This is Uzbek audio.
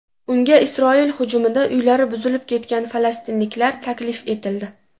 Unga Isroil hujumida uylari buzilib ketgan falastinliklar taklif etildi.